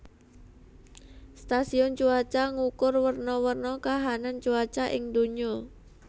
Stasiun cuaca ngukur werna werna kahanan cuaca ing donya